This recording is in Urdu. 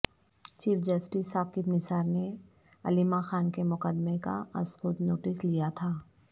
چیف جسٹس ثاقب نثار نے علیمہ خان کے مقدمے کا ازخود نوٹس لیا تھا